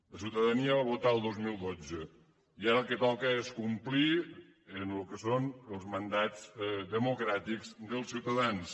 la ciutadania va votar el dos mil dotze i ara el que toca és complir amb el que són els mandats democràtics dels ciutadans